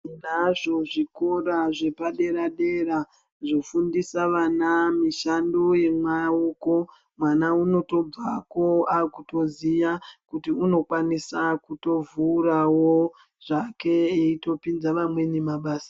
Tinazvo zvikora zvapaderadera zvofundisa vana mushando yemaoko, mwana unotobvako otoziya kuti unokwanisa kutovhurawo zvake eitopinzwawo vamweni mabasa .